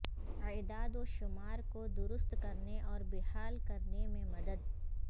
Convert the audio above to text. اعداد و شمار کو درست کرنے اور بحال کرنے میں مدد